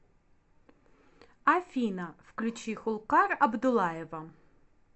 афина включи хулкар абдуллаева